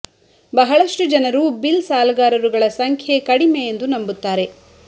ಬಹಳಷ್ಟು ಜನರು ಬಿಲ್ ಸಾಲಗಾರರು ಗಳ ಸಂಖ್ಯೆ ಕಡಿಮೆ ಎಂದು ನಂಬುತ್ತಾರೆ